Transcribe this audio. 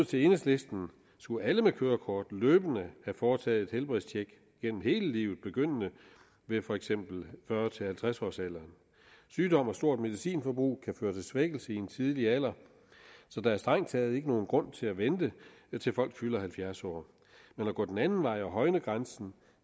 til enhedslisten skulle alle med kørekort løbende have foretaget helbredstjek gennem hele livet begyndende ved for eksempel fyrre til halvtreds årsalderen sygdom og stort medicinforbrug kan svækkelse i en tidlig alder så der er strengt taget ikke nogen grund til at vente til folk fylder halvfjerds år men at gå den anden vej og højne grænsen